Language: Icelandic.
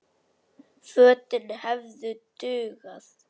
Fötin hefðu dugað.